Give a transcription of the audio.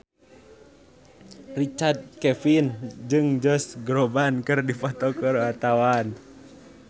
Richard Kevin jeung Josh Groban keur dipoto ku wartawan